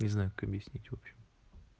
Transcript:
не знаю как объяснить общем